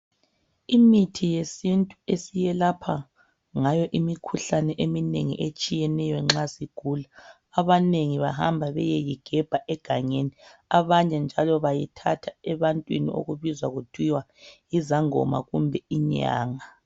Imithi yesintu esiyelapha ngayo imikhuhlane eminengi etshiyeneyo nxa sigula abanengi bahamba beyeyigebha egangeni, abanye njalo bayithatha ebantwini okubizwa kuthiwa yizangoma kumbe inyanga.